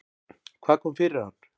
Hvað kom fyrir hann?